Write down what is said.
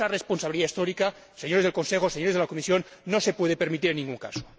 Esa responsabilidad histórica, señores del Consejo, señores de la Comisión, no se puede permitir en ningún caso.